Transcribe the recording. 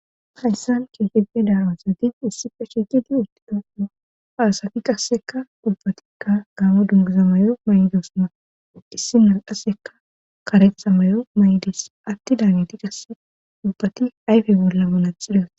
hayssan Gita Gita daaro asati issife shiqidi utti dooo aasafi qasseka ubbatikka gaamo dunguzamayo maydos na issi nalqasseka kareha mayo may7des atti daaneti qase ubbati ayfe bolla manaxita wothi